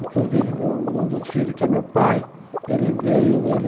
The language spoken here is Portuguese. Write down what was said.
Inclusive um dos filhos, que é meu pai, ele veio, ele